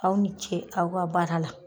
Aw ni ce aw ka baara la.